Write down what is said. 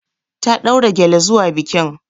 Ta ɗaura gyale zuwa bikin.